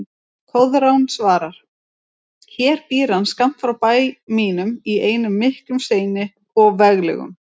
Koðrán svarar: Hér býr hann skammt frá bæ mínum í einum miklum steini og veglegum